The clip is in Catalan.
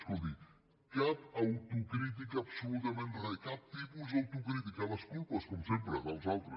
escolti cap autocrítica absolutament res cap tipus d’autocrítica les culpes com sempre dels altres